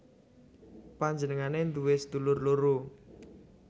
Panjenengané nduwé sedulur loro